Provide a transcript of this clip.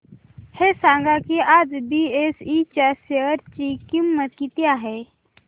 हे सांगा की आज बीएसई च्या शेअर ची किंमत किती आहे